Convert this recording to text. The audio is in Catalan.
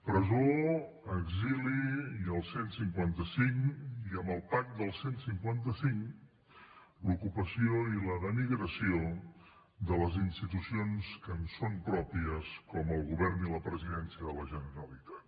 presó exili i el cent i cinquanta cinc i amb el pack del cent i cinquanta cinc l’ocupació i la denigració de les institucions que ens són pròpies com el govern i la presidència de la generalitat